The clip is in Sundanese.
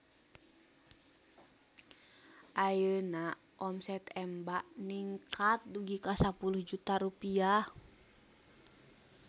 Ayeuna omset Emba ningkat dugi ka 10 juta rupiah